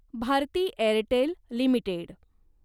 Bharti Airtel limited